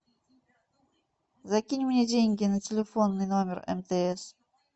закинь мне деньги на телефонный номер мтс